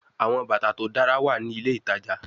Awọn bata to dara wa ni ile itaja